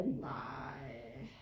Nej